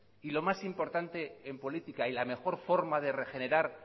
y lo más importante en política y la mejor forma de regenerar